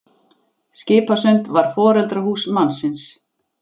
Skipasund var foreldrahús mannsins.